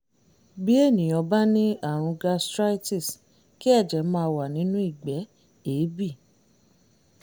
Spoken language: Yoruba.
bí ènìyàn bá ní àrùn gastritis kí ẹ̀jẹ̀ máa wà nínú ìgbẹ́ èébì